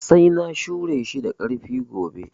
Sai na shure shi da ƙarfi gobe